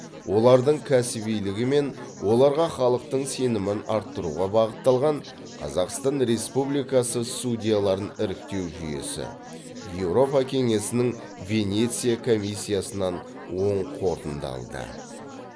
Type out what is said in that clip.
олардың кәсібилігі мен оларға халықтың сенімін арттыруға бағытталған қазақстан республикасы судьяларын іріктеу жүйесі еуропа кеңесінің венеция комиссиясынан оң қорытынды алды